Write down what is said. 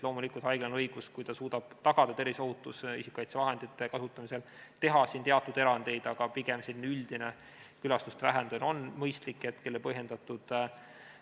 Loomulikult, haiglal on õigus, kui ta suudab tagada terviseohutuse, isikukaitsevahendite kasutamise, teha teatud erandeid, aga pigem on üldine külastuste vähendamine mõistlik ja põhjendatud.